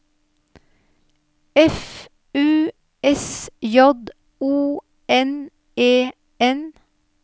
F U S J O N E N